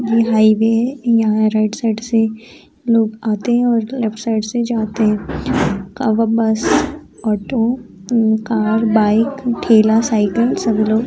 यह हाईवे है यहाँ राइट साइड से लोग आते है और लेफ्ट साइड से जाते है। बस ऑटो कार बाइक ठेला साइकिल सब लोग --